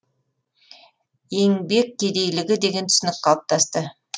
еңбек кедейлігі деген түсінік қалыптасты